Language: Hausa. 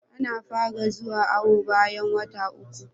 Ana fara zuwa awo bayan wata uku